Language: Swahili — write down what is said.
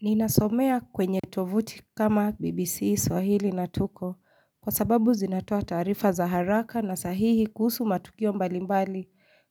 Ninasomea kwenye tovuti kama bbc swahili na tuko kwa sababu zinatoa taarifa za haraka na sahihi kuhusu matukio mbali mbali